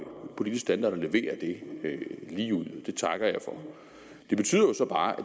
politisk standard når man leverer det ligeud og det takker jeg for det betyder jo så bare